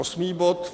Osmý bod.